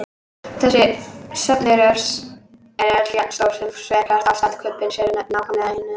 Þessi söfn eru öll jafn stór og sérhvert ástand kubbsins er í nákvæmlega einu þeirra.